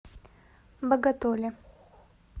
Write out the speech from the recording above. боготоле